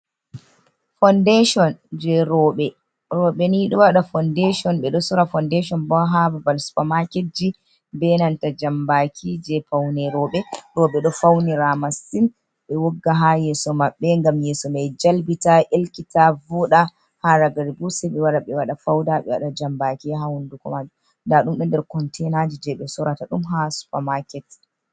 Foundation je robe nido wada foundation be do sora foundation bo hababal supermaketji, benanta jambaki je paune roɓe roɓe do fauniramassin be wogga ha yeso mabbe gam yeso mai jalbita elkita vuda ha ragari0u seibe wada be wada fauda be wada jambaki ha hunduko maju da dumde nder konteinaji je be sorata dum ha supermaket.